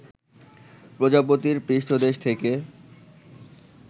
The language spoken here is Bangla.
প্রজাপতির পৃষ্ঠদেশ থেকে